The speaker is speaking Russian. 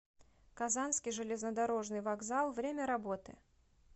казанский железнодорожный вокзал время работы